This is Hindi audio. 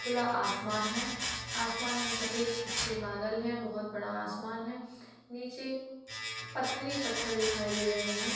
खुला आसमान है। आसमान मे सफ़ेद अच्छे बादल हैं बोहोत बड़ा आसमान है नीचे पत्थर ही पत्थर दिखाई दे रहे हैं।